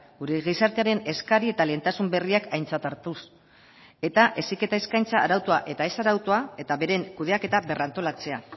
gure gizartearen eskari eta lehentasun berriak aintzat hartuz eta heziketa eskaintza arautua eta ez arautua eta beren kudeaketa berrantolatzea